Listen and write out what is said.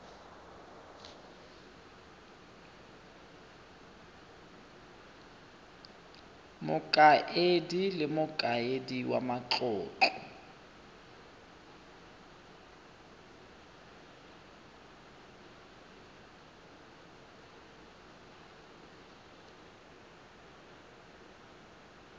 mokaedi le mokaedi wa matlotlo